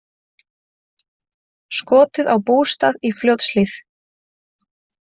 Skotið á bústað í Fljótshlíð